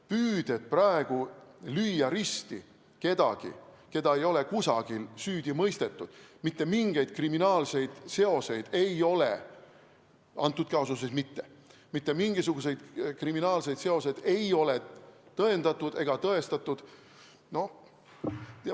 Püüded on praegu lüüa risti kedagi, keda ei ole kusagil süüdi mõistetud, mitte mingeid kriminaalseid seoseid ei ole, antud kaasuses mitte, tõendatud ega tõestatud.